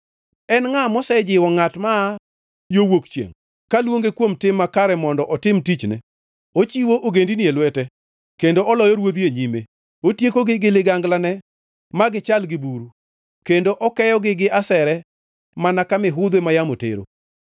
“En ngʼa mosejiwo ngʼat maa yo wuok chiengʼ, kaluonge kuom tim makare mondo otim tichne? Ochiwo ogendini e lwete kendo oloyo Ruodhi e nyime. Otiekogi gi liganglane ma gichal gi buru kendo okeyogi gi asere mana ka mihudhwe ma yamo tero.